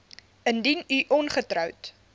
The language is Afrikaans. indien u ongetroud